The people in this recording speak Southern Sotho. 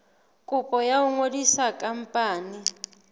kopo ya ho ngodisa khampani